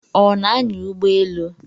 Ọ na-anya ụgbọelu?